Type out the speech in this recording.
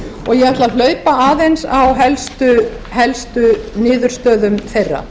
og ég ætla að hlaupa aðeins á helstu niðurstöðum þeirra